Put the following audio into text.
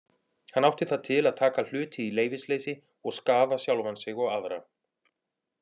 Hann átti það til að taka hluti í leyfisleysi og skaða sjálfan sig og aðra.